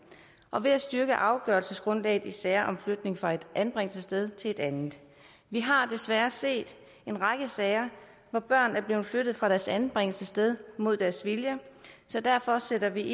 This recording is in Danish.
og ved at styrke afgørelsesgrundlaget i sager om flytning fra ét anbringelsessted til et andet vi har desværre set en række sager hvor børn er blevet flyttet fra deres anbringelsessted mod deres vilje så derfor sætter vi